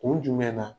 Kun jumɛn na